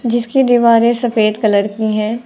जिसकी दीवारें सफेद कलर की हैं।